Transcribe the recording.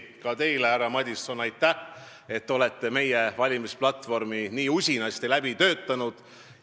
Ka teile, härra Madison, aitäh, et olete meie valimisplatvormi nii usinasti läbi töötanud.